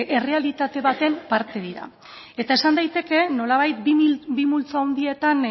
errealitate baten parte dira eta esan daiteke nolabait bi multzo handietan